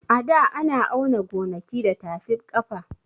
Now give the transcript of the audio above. A da ana auna gonaki da tafib ƙafa